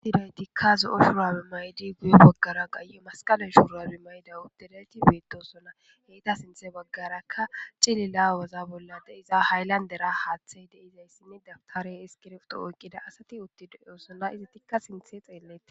He naythikka zo7o shuraabe mayidi ya baggaarakka masqale malaathay de7ido shuraabe mayidi de7iyagethi beeththoosona; ethappe sinththa baggerakka cilila wozaamo bolla de7iza haylandera haaththay de7izayssi dabththareera iskiribtho oykkida asathi uththidi de7oosona;may7idikka sinththe xeelleethes.